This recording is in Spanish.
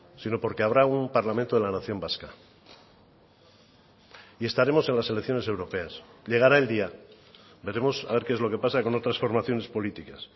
sino porque habrá un parlamento de la nación vasca y estaremos en las elecciones europeas llegará el día veremos a ver qué es lo que pasa con otras formaciones políticas